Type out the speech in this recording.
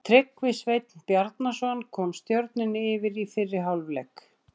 Tryggvi Sveinn Bjarnason kom Stjörnunni yfir í fyrri hálfleik.